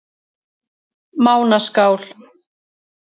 Mánaskál